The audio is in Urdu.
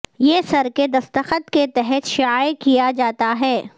یہ سر کے دستخط کے تحت شائع کیا جاتا ہے